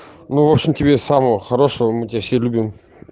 ну в общем тебе самого хорошего мы тебя все любим